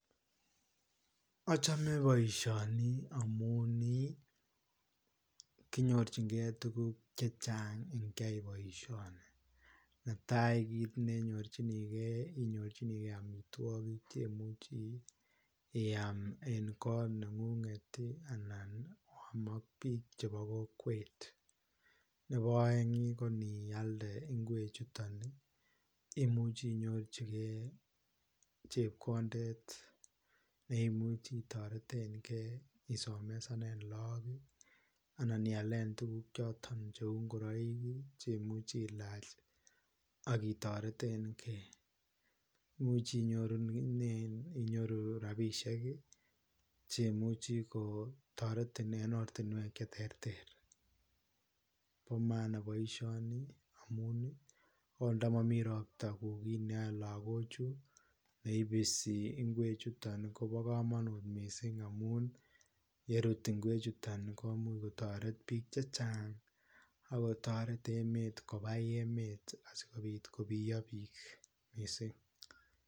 Achame boisioni amuun ii konyoorjigei tuguuk chechaang iikyai boisioni netai kit ne nyorjiinigei inyoruu amitwagiik cheimuchii iyaam en koot nengunget ii anan iam ak biik chebo kokwet, nebo aeng ii ko iniyaldei imuchii inyorjikei chepkondeet neimuchii itareteen gei isomesaneen lagook ii annan iyaleen tuguuk chotoon che uu ingoraik ii cheimuchii ilaach ii akitareteen gei , imuchii inyoruneen rapisheek ii ,cheimuchii kotaretiin en ortinweek che terter, bo maana boisioni amuun ii akoot nda mamii roptaa ko kiit ne yae lagoog chuu neibisi ngweeg chutoon ii kobaa kamanuut missing amuun yeruut kweek chutoon komuuch kotaret biik chechaang akoo taret kobai emet asikobiit kobiyaa biik missing.